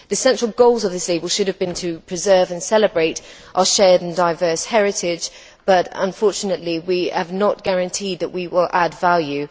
The central goals of this label should have been to preserve and celebrate our shared and diverse heritage, but unfortunately, we have not guaranteed that we will add value.